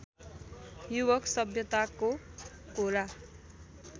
युवक सभ्यताको कोरा